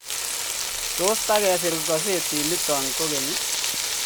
Tos tikesir gazetit nitok koge'ny